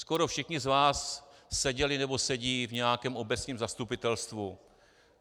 Skoro všichni z vás seděli nebo sedí v nějakém obecním zastupitelstvu.